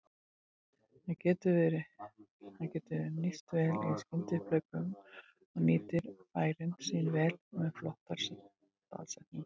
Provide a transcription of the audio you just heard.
Hann getur nýst vel í skyndiupphlaupum og nýtir færin sín vel og með flottar staðsetningar.